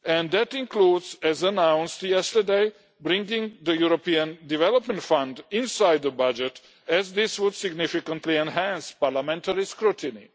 That includes, as announced yesterday, bringing the European Development Fund inside the budget, as this would significantly enhance parliamentary scrutiny.